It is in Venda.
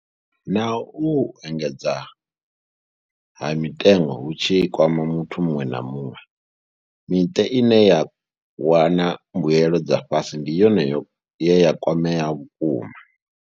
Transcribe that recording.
Naho uhu u engedzea ha mitengo hu tshi kwama muthu muṅwe na muṅwe, miṱa ine ya wana mbuelo dza fhasi ndi yone ye ya kwamea vhukuma.